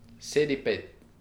Sedi, pet.